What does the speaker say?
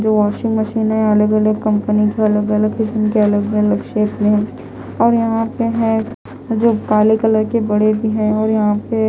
जो washing machine है अलग-अलग कंपनी के अलग-अलग किस्म के अलग-अलग शेप में है और यहां पे है जो काले कलर के बड़े भी है और यहां पे--